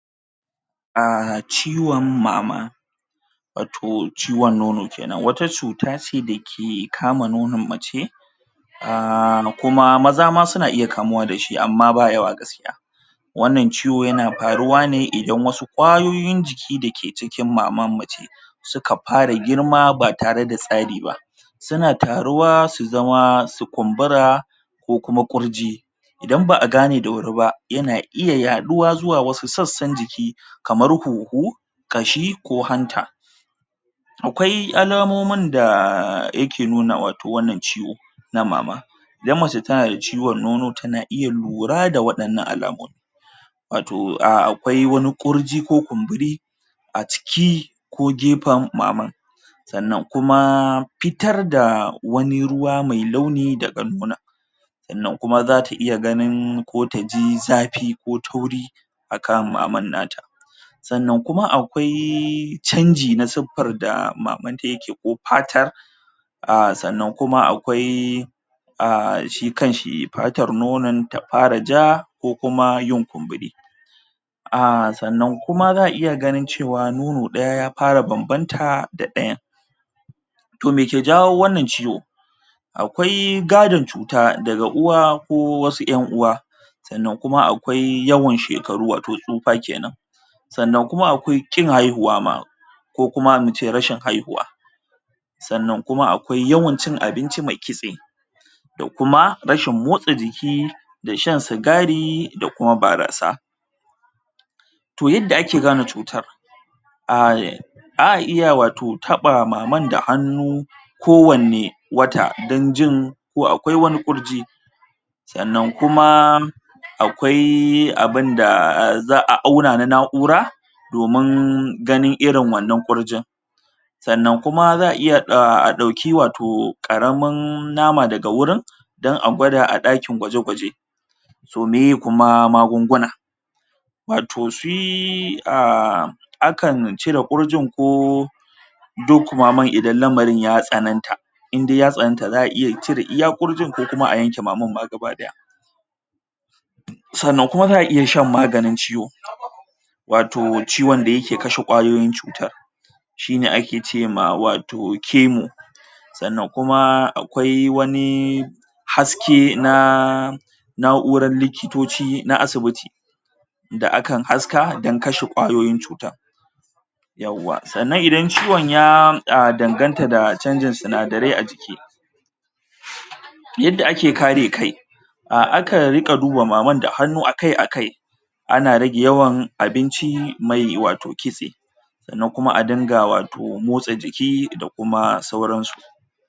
um ciwon mama wato ciwon nono kenan wata cuta ce da ke kama nonon mace um kuma maza ma suna iya kamuwa da shi amma ba yawa gaskiya wannan ciwo yana faruwa ne idan wasu ƙwayoyin jiki da ke cikin maman mace suka fara girma ba tare da tsari ba suna taruwa su zama su kumbura ko kuma ƙurji idan ba a gane da wuri ba yana iya yaɗuwa zuwa wasu sassan jiki kamar huhu ƙashi ko hanta akwai alamomin da yake nuna wato wannan ciwo na mama idan mace na da ciwon nono tana iya lura da waɗannan alamomin wato akwai wani ƙurji ko kumburi a ciki ko gefen maman sannan kuma fitar da wani ruwa mai launi da sannan kuma zata iya ganin ko taji zafi ko tauri a kan maman nata sannan kuma akwai chanji na suffar da mamanta yake ko fatar a sannan kuma akwai a shi kanshi fatar nonon ta fara ja ko kuma yin kumburi a sannan kuma za a iya ganin cewa nono ɗaya ya fara banbanta da ɗayan to me ke jawo wannan ciwo akwai gadon cuta daga uwa ko wasu ƴan uwa sannan kuma akwai yawan shekaru wato tsufa kenan sannan kuma akwai ƙin haihuwa ma ko kuma mu ce rashin haihuwa sannan kuma akwai yawan cin abinci mai kitse to kuma rashin motsa jiki da shan sigari da kuma barasa to yadda ake gane cutar um za a iya wato taɓa mamar da baki kowanne wata don jin ko akwai wani ƙurji sannan kuma akwai abinda za a auna na na'ura domin ganin irin wannan ƙurjin sannan kuma za a iya a dauki wato ƙaramin nama daga wurin don a gwada a ɗakin gwaje gwaje to miye kuma magunguna wato shi um a kan cire ƙurjin koh duk maman idan lamarin ya tsanan ta indai ya tsananta za a iya cire ƙurjin ko kuma a yanke maman ma gabaɗaya sannan kuma za a iya shan maganin ciwo wato ciwon da yake cire kwayoyin cuta shine ake ce ma wato chemo sannan kuma akwai wani haske na na'urar likitoci na asibiti da akan haska don kashe kwayoyin cuta yawwa sannan idan ciwon ya danganta da chanjin sinadare a jiki yadda ake kare kai a akan rika duba maman da hannu akai akai ana rage yawan abinci mai wato kitse sannan kuma a dinga wato matsa jiki da sauran su.